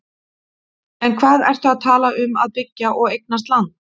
En hvað ertu að tala um að byggja og eignast land?